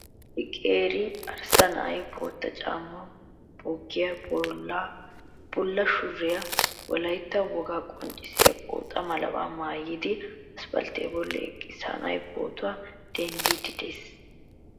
Issi qeeri arssa na'ay bootta caammaa, boggiya, bulla shuraabiyanne wolaytta wogaa qonccissiya pooxa malabaa maayidi aspalttiya bolli eqqiis. Ha na'ay pootuwa denddiiddi de'ees.